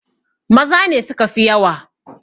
Maza ne suka fi yawa!